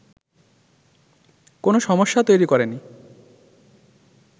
কোন সমস্যা তৈরি করেনি